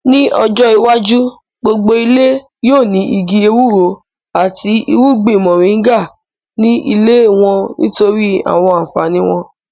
Ní ọjọ́ iwájú, gbogbo ilé yóò ní igi ewúro àti irúgbìn mọ̀ríńgà ní ilé wọ́n nítorí àwọn ànfàní wọn